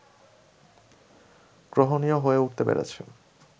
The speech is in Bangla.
গ্রহণীয় হয়ে উঠতে পেরেছে